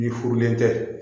N'i furulen tɛ